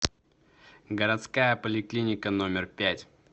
городская поликлиника номер пять